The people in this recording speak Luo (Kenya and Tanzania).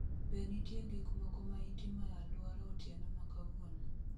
Be nitie gik moko ma itimo e alwora otieno ma kawuono